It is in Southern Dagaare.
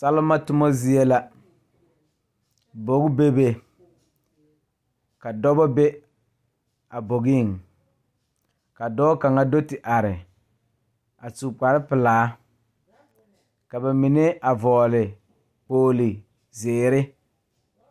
Salima tomo zie la bogi bebe ka dɔbɔ be a bogiŋ ka dɔɔ kaŋa do ti are a su kparepelaa ka ba mine a vɔgle kpogle zeere.